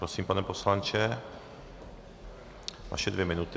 Prosím, pane poslanče, vaše dvě minuty.